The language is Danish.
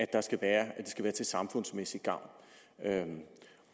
at være til samfundsmæssig gavn